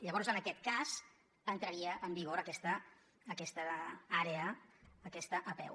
llavors en aquest cas entraria en vigor aquesta àrea aquesta apeu